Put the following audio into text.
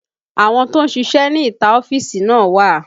Àwọn tó ń ṣíṣe ní ìta ọ́fíìsì náà wà